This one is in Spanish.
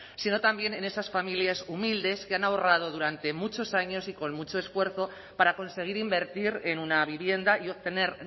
sino también en esas familias humildes que han ahorrado durante muchos años y con mucho esfuerzo para conseguir invertir en una vivienda y obtener